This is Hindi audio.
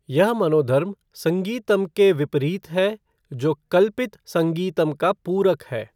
यह मनोधर्म संगीतम के विपरीत है, जो कल्पित संगीतम का पूरक है।